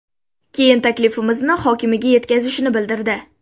Keyin taklifimizni hokimiga yetkazishini bildirdi.